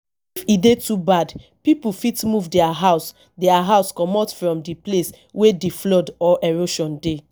if e dey too bad pipo fit move their house their house comot from di place wey di flood or erosion dey